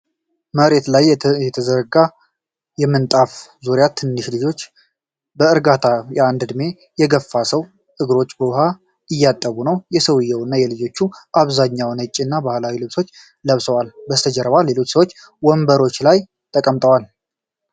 መሬት ላይ በተዘረጋ ምንጣፍ ዙሪያ፣ ትናንሽ ልጆች በእርጋታ የአንድን በዕድሜ የገፉ ሰው እግሮች በውሃ እያጠቡ ነው። ሰውየው እና ልጆቹ በአብዛኛው ነጭና ባህላዊ ልብሶችን ለብሰዋል። ከበስተጀርባ ሌሎች ሰዎች ወንበሮች ላይ ተቀምጠዏል።